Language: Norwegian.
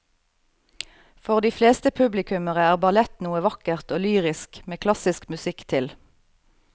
For de fleste publikummere er ballett noe vakkert og lyrisk med klassisk musikk til.